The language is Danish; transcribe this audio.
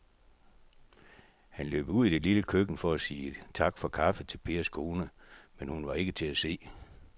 Han løb ud i det lille køkken for at sige tak for kaffe til Pers kone, men hun var ikke til at se.